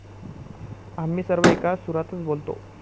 आम्ही सर्व एका सुरातच बोलतो.